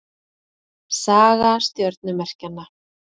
Saga stjörnumerkjanna.